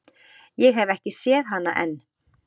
Ég hef ekki séð hana enn.